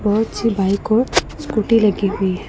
बहोत अच्छी बाइक और स्कूटी लगी हुई है।